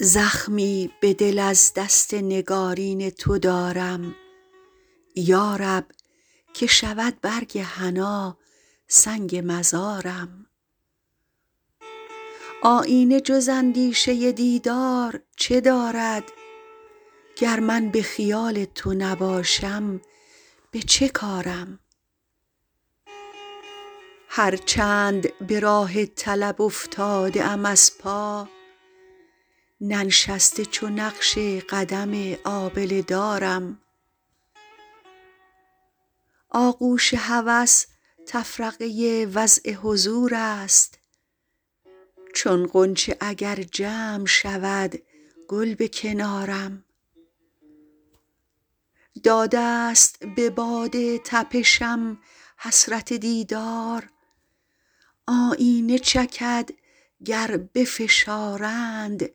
زخمی به دل از دست نگارین تو دارم یارب که شود برگ حنا سنگ مزارم آیینه جز اندیشه دیدار چه دارد گر من به خیال تو نباشم به چه کارم هر چند به راه طلب افتاده ام از پا ننشسته چو نقش قدم آبله دارم آغوش هوس تفرقه وضع حضور است چون غنچه اگر جمع شودگل به کنارم داده ست به باد تپشم حسرت دیدار آیینه چکدگر بفشارند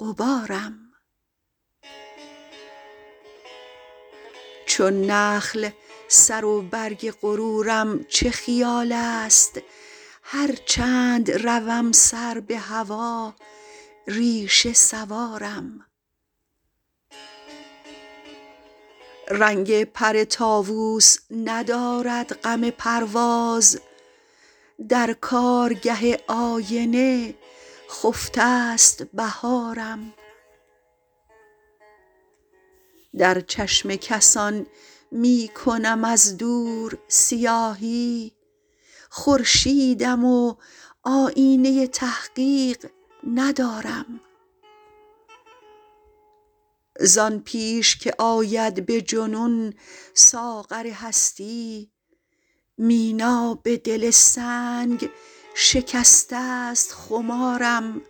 غبارم چون نخل سر و برگ غرورم چه خیالست هرچند روم سر به هوا ریشه سوارم رنگ پر طاووس ندارد غم پرواز درکارگه آینه خفته ست بهارم در چشم کسان می کنم از دور سیاهی خورشیدم و آیینه تحقیق ندارم زان پیش که آید به جنون ساغر هستی مینا به دل سنگ شکسته ست خمارم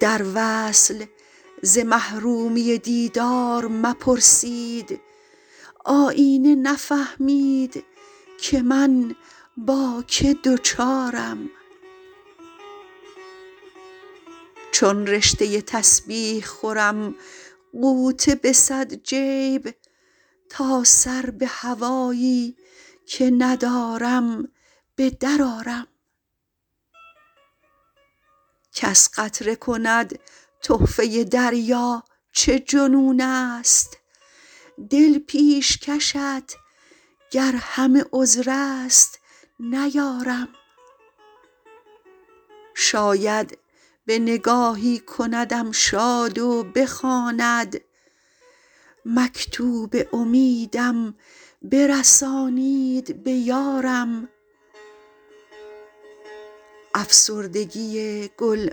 در وصل ز محرومی دیدار مپرسید آیینه نفهمیدکه من با که دچارم چون رشته تسبیح خورم غوطه به صد جیب تا سر به هوایی که ندارم به در آرم کس قطره کند تحفه دریا چه جنون است دل پیشکشت گر همه عذر است نیارم شاید به نگاهی کندم شاد و بخواند مکتوب امیدم برسانید به یارم افسردگی گل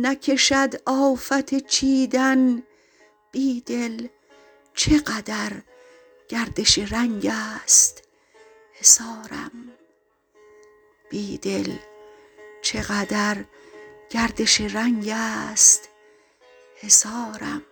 نکشد آفت چیدن بیدل چقدر گردش رنگست حصارم